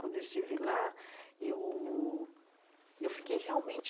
Quando eu estive lá, eu eu fiquei realmente...